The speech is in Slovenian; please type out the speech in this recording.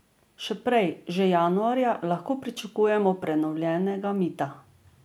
Še prej, že januarja, lahko pričakujemo prenovljenega mita.